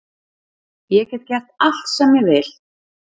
Ég get gert allt sem ég vil